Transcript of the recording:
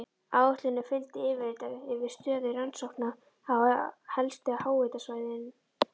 Áætluninni fylgdi yfirlit yfir stöðu rannsókna á helstu háhitasvæðum.